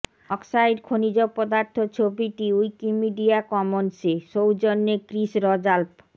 oxide খনিজ পদার্থ ছবিটি উইকিমিডিয়া কমন্সে সৌজন্যে ক্রিস র্যাল্ফ